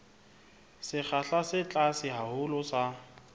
sekgahla se tlase haholo sa